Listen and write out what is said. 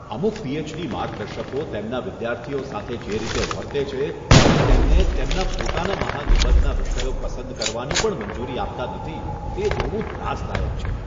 અમુક પીએચડી માર્ગદર્શકો તેમના વિદ્યાર્થીઓ સાથે જે રીતે વર્તે છે અને તેમને તેમના પોતાના મહાનિબંધના વિષયો પસંદ કરવાની પણ મંજૂરી આપતા નથી, તે જોવું ત્રાસદાયક છે.